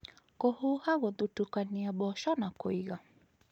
Kũhuha gũthutũkania mboco na kũiga